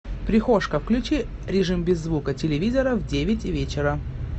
прихожка включи режим без звука телевизора в девять вечера